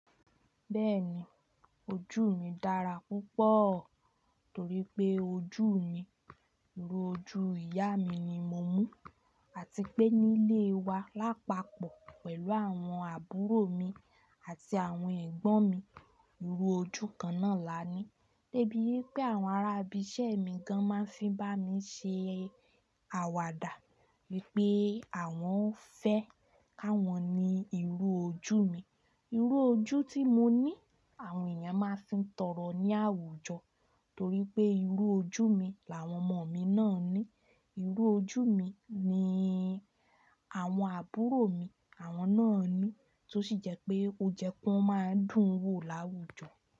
Bẹ́ẹ̀ni, ojú mi dára púpọ̀ torí pé ojú mi, irú ojú ìyá mi ni mo mú àti pé nílé wa lápapọ̀ pẹ̀lú àwọn àbúrò mi àti àwọn ẹ̀gbọ́n mi. Irú ojú kan náà là ní. Débí wípé àwọn ará ibi iṣẹ́ mi gan máa ń fi bá mi ṣe àwàdà wípé àwọn fẹ́ káwọn ní irú ojú mi. Irú ojú tí mo ní àwọn èèyàn máa ń fi tọrọ ní àwùjọ torí pé irú ojú mi làwọn ọmọ mi náà ní. Irú ojú mi ni àwọn àbúrò mi àwọn náà ní, tó sì jẹ́ pé ó jẹ́ kó máa n dùn wò láwùjọ.